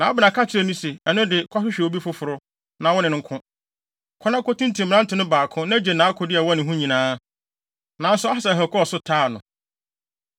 Na Abner ka kyerɛɛ no se, “Ɛno de, kɔhwehwɛ obi foforo, na wone no nko. Kɔ na kotintim mmerante no baako, na gye nʼakode a ɛwɔ ne ho nyinaa.” Nanso Asahel, kɔɔ so taa no.